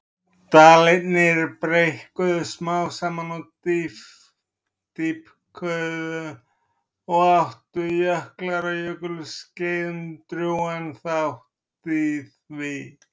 Dalirnir breikkuðu smám saman og dýpkuðu og áttu jöklar á jökulskeiðum drjúgan þátt í því.